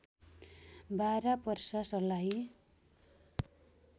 Bara Parsa Sarlahi